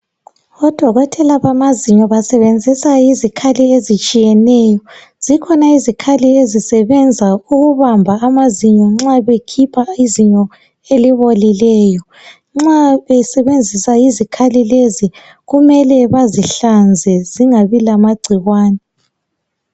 Odokotela bamazinyo basebenzisa izikhali ezitshiyeneyo zikhona izikhali ezisebenza ukubamba amazinyo nxa bekhipha izinyo elibolileyo nxa besebenzisa izikhali lezi kumele bazihlanze zingabi lamagcikwane